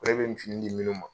Ale bɛ nin fini di minnu ma